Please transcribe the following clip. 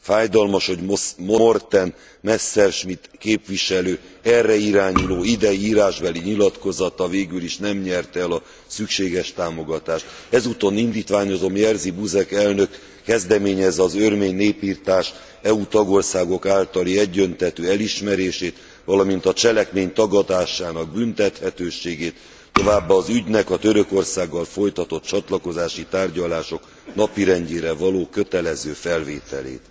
Fájdalmas, hogy Morten Messerschmidt képviselő erre irányuló idei írásbeli nyilatkozata végül is nem nyerte el a szükséges támogatást. Ezúton indítványozom, Jerzy Buzek elnök kezdeményezze az örmény népirtás EU tagországok általi egyöntetű elismerését, valamint a cselekmény tagadásának büntethetőségét, továbbá az ügynek a Törökországgal folytatott csatlakozási tárgyalások napirendjére való kötelező felvételét.